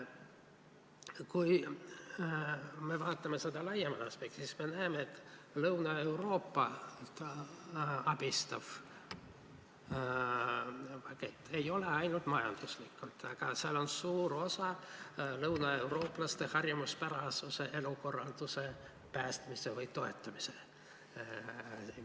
Kui me vaatame seda laiemast aspektist, siis me näeme, et Lõuna-Euroopat abistav pakett ei ole ainult majandusliku sisuga, suur osa on ka lõunaeurooplaste harjumuspärase elukorralduse päästmisel või toetamisel.